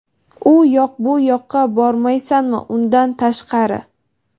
u yoq bu yoqqa bormaysanmi undan tashqari).